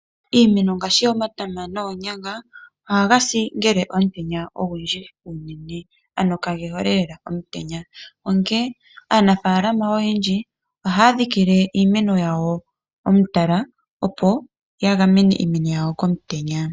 Iimeno ngaashi omatama noonyanga ohaga si ngele omutenya ogundji unene ano kage hole lela omutenya. Onkene aanafaalama oyendji ohaya dhikile iimeno yawo omutala opo ya gamene iimeno yawo komutenya.